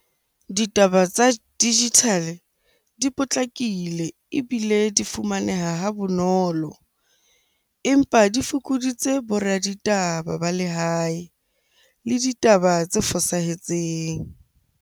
Ditaba tsa digital-e di potlakile ebile di fumaneha ha bonolo. Empa di fokoditse bo raditaba ba lehae le ditaba tse fosahetseng.